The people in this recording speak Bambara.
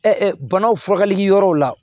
banaw furakɛli yɔrɔw la